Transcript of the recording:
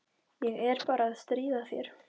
Ég er bara að stríða þér.